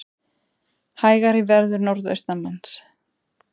Hægari verður norðaustanlands